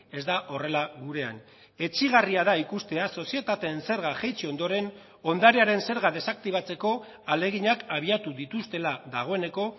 ez da horrela gurean etsigarria da ikustea sozietateen zerga jaitsi ondoren ondarearen zerga desaktibatzeko ahaleginak abiatu dituztela dagoeneko